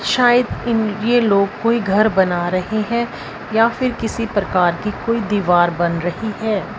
शायद इन ये लोग कोई घर बना रहे है या फिर किसी प्रकार की कोई दीवार बन रही है।